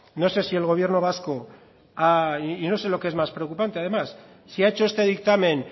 no sé si el gobierno vasco y no sé lo que es más preocupante además si ha hecho este dictamen